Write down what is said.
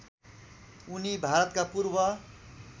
उनी भारतका पूर्व